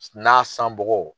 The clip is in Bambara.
N'a sanbɔgɔ